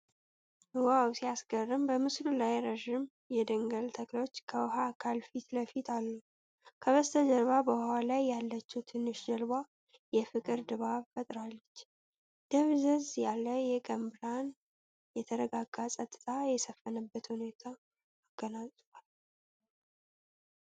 ዋው ሲያስገርም! በምስሉ ላይ ረዥም የደንገል ተክሎች ከውሃ አካል ፊት ለፊት አሉ። ከበስተጀርባ በውሃው ላይ ያለች ትንሽ ጀልባ የፍቅር ድባብ ፈጥራለች። ደብዘዝ ያለ የቀን ብርሃን የተረጋጋና ጸጥታ የሰፈነበት ሁኔታ አጎናጽፏል።